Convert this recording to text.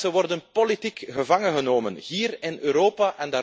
Mensen worden politiek gevangengenomen, hier in Europa.